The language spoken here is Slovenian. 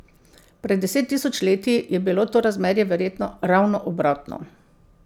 Pred deset tisoč leti je bilo to razmerje verjetno ravno obratno.